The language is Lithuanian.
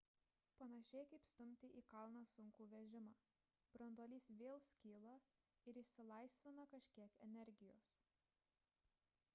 panašiai kaip stumti į kalną sunkų vežimą branduolys vėl skyla ir išsilaisvina kažkiek energijos